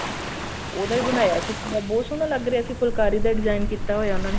ਉਹਦਾ ਹੀ ਬਣਾਇਆ ਸੀ ਸਿੱਪੀ ਦਾ ਬਹੁਤ ਸੋਹਨਾ ਲਗ ਰਿਹਾ ਸੀ ਫੁਲਕਾਰੀ ਦਾ design ਕੀਤਾ ਹੋਇਆ ਉਹਨਾ ਨੇ